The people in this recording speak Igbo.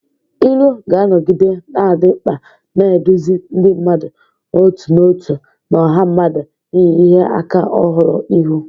Ilu ga-anọgide na-adị mkpa, na-eduzi ndị mmadụ n'otu n'otu na ọha mmadụ n'ihu ihe ịma aka ọhụrụ ihu.